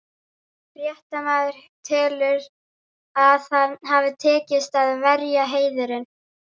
Fréttamaður: Telurðu að það hafi tekist, að verja heiðurinn?